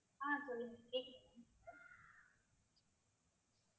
ஆஹ் சொல்லுங்க கேக்குது